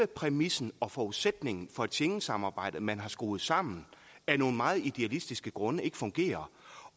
præmissen og forudsætningen for et schengensamarbejde man har skruet sammen af nogle meget idealistiske grunde ikke fungerer